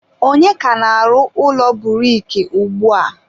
ọnye ka na-arụ ụlọ buriki ugbua?